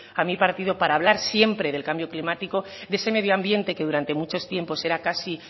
a mi partido para hablar siempre del cambio climático de ese medio ambiente que durante mucho tiempo era casi